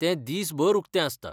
तें दिसभर उकतें आसता.